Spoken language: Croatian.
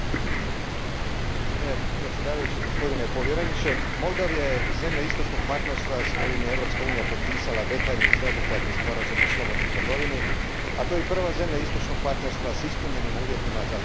Gospodine povjereniče, Moldova je zemlja Istočnog partnerstva s kojom je Europska unija potpisala detaljni sveobuhvatni sporazum o slobodnoj trgovini, a to je i prva zemlja Istočnog partnerstva s ispunjenim uvjetima za liberalizaciju viznog režima.